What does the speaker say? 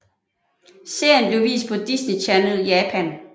Serien blev vist på Disney Channel Japan